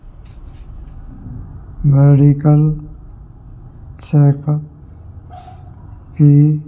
medical check up भी --